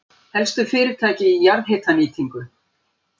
Helstu fyrirtæki í jarðhitanýtingu